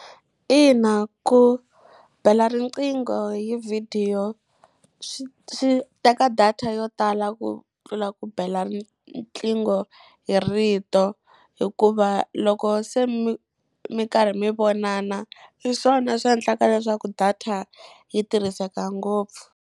Ina ku bela riqingho hi vhidiyo swi swi teka data yo tala ku tlula ku bela riqingho hi rito. Hikuva loko se mi mi karhi mi vonana, hi swona swi endlaka leswaku data yi tirhiseka ngopfu.